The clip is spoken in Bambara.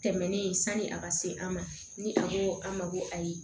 Tɛmɛnen sanni a ka se an ma ni a ko an ma ko ayi